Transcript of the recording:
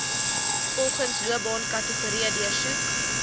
volgens loopbaankategorie deursoek